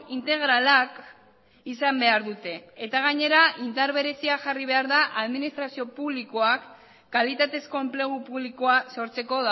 integralak izan behar dute eta gainera indar berezia jarri behar da administrazio publikoak kalitatezko enplegu publikoa sortzeko